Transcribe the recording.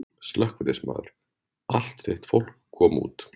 Slökkviliðsmaður: Allt þitt fólk komið út?